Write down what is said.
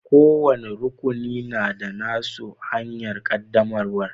Kowani rukuni na da na su hanyar qaddamarwa.